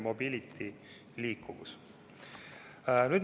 Mobility – liikuvus.